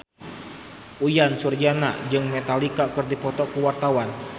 Uyan Suryana jeung Metallica keur dipoto ku wartawan